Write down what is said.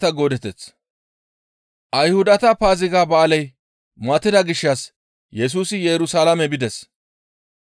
Ayhudata Paaziga ba7aaley matida gishshas Yesusi Yerusalaame bides.